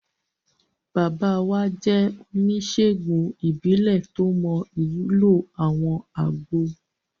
Bàbá wa jẹ́ oníṣèègùn ìbílẹ̀ tó mọ ìwúlò àwọn àgbo